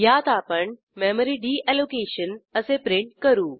यात आपण memory deallocation असे प्रिंट करू